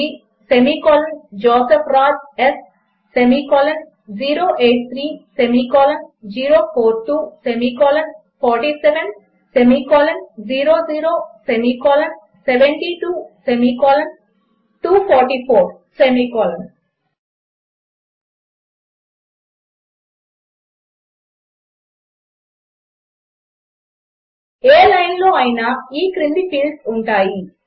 a015163జోసెఫ్ రాజ్ స్083042470072244 ఏ లైన్లోనైనా ఈ క్రింది ఫీల్డ్స్ ఉంటాయి